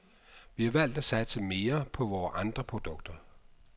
Vi har valgt at satse mere på vores andre produkter.